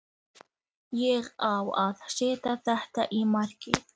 Skipholti